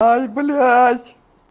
ай блядь